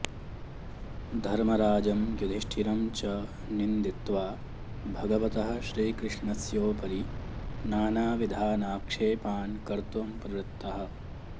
धर्मराजं युधिष्ठिरं च निन्दित्वा भगवतः श्रीकृष्णस्योपरि नानाविधानाक्षेपान् कर्तुं प्रवृत्तः